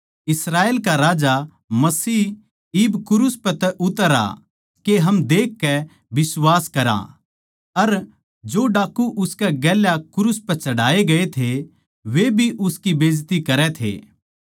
इस्राएल का राजा मसीह इब क्रूस पै तै उतर आ के हम देखकै बिश्वास करया अर जो डाकू उसकै गेल्या क्रूस पै चढ़ाए गए थे वे भी उसकी बेजती करै थे